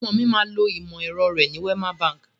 Ọmọ mi máa lo ìmọ̀ ẹ̀rọ rẹ ní Wema Bank.